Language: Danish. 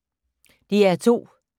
DR2